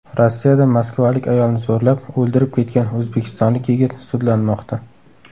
Rossiyada moskvalik ayolni zo‘rlab, o‘ldirib ketgan o‘zbekistonlik yigit sudlanmoqda.